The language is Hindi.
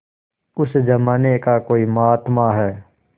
उस जमाने का कोई महात्मा है